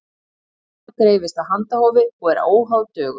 gæfa dreifist af handahófi og er óháð dögum